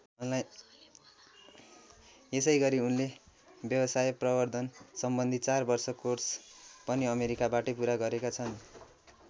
यसैगरी उनले व्यवसाय प्रवर्द्धन सम्बन्धी चार वर्ष कोर्स पनि अमेरिकाबाटै पूरा गरेका छन्।